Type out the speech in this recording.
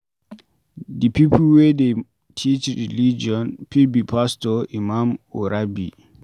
Di pipo wey dey teach religion fit be pastor, imam or rabbi